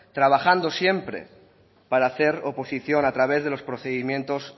trabajando siempre para hacer oposición a través de los procedimientos